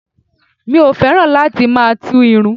Mi ò fẹ́ràn láti máa tú irun